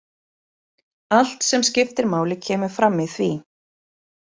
Allt sem skiptir máli kemur fram í því.